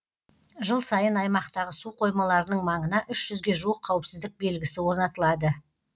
жыл сайын аймақтағы су қоймаларының маңына үш жүзге жуық қауіпсіздік белгісі орнатылады